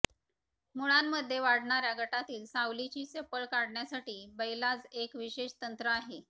मुळांमध्ये वाढणार्या गटातील सावलीची चपळ काढण्यासाठी बैलाज एक विशेष तंत्र आहे